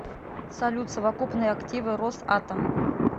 салют совокупные активы росатом